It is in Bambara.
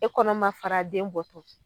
E kɔnɔ ma fara den bɔ tɔ